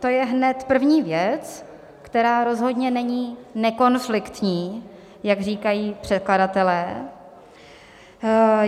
To je hned první věc, která rozhodně není nekonfliktní, jak říkají předkladatelé.